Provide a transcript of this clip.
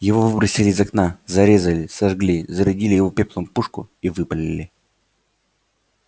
его выбросили из окна зарезали сожгли зарядили его пеплом пушку и выпалили